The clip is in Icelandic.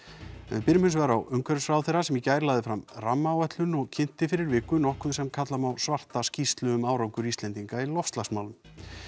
en við byrjum hins vegar á umhverfisráðherra sem í gær lagði fram Rammáætlun og kynnti fyrir viku nokkuð sem kalla má svarta skýrslu um árangur Íslendinga í loftslagsmálum